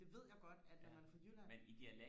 det ved jeg godt at når man er fra jylland